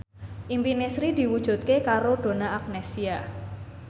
impine Sri diwujudke karo Donna Agnesia